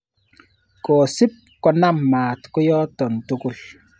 Kosip konam maat koyotok tukul.